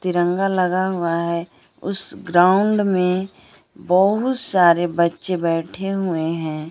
तिरंगा लगा हुआ है उस ग्राउंड में बहोत सारे बच्चे बैठे हुए हैं।